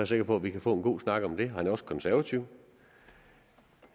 sikker på at vi kan få en god snak om det han er også konservativ